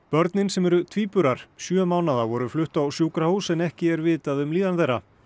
börnin sem eru tvíburar sjö mánaða voru flutt á sjúkrahús en ekki er vitað um líðan þeirra